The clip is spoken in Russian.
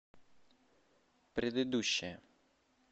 предыдущая